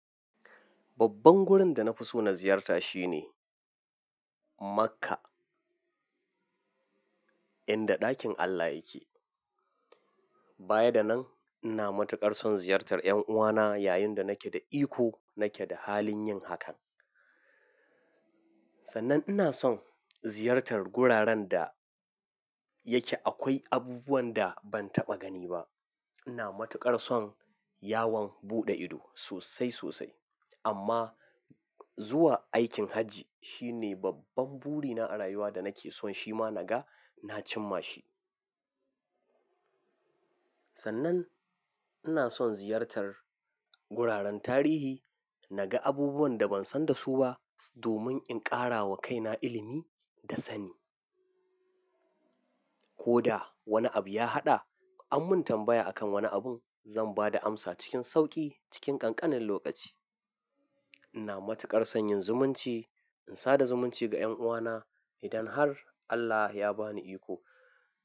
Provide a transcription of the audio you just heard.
Babban wurin da na fi so na ziyarta shine Makkah, inda ɗakin Allah yake. Bayar da nan ina matuƙar son ziyartar 'yan uwana yayin da nake da iko nake da halin yin hakan. Sannan ina son ziyartar guraren da yake akwai abubuwan da ban taɓa gani ba. Ina matuƙar son yawon buɗe ido sosai sosai amma zuwa aikin hajji shine babban burina a rayuwa da nake son shi ma naga na cimma shi. Sannan ina son ziyartar guraren tarihi naga abubuwan da ban san da su ba domin in ƙara wa kaina ilimi da sani. Ko da wani abu ya haɗa an mun tambaya a kan wani abun zan ba da amsa cikin sauƙi cikin ƙanƙanin lokaci. Ina matuƙar son yin zumunci in sada zumunci ga 'yan uwana idan har Allah ya ba ni iko.